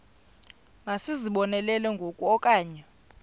masizibonelele ngoku okanye